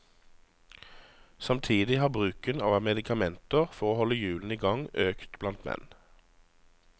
Samtidig har bruken av medikamenter for å holde hjulene i gang økt blant menn.